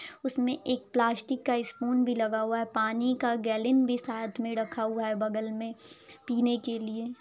उसमें एक प्लास्टिक का स्पून भी लगा हुआ है पानी का गैलेन भी साथ में रखा हुआ है बगल में पीने के लिए।